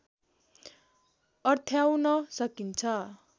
अर्थ्याउन सकिन्छ